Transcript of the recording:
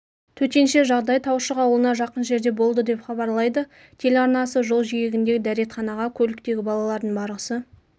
төтенше жағдай таушық ауылына жақын жерде болды деп хабарлайды телеарнасы жол жиегіндегі дәретханаға көліктегі балалардың барғысы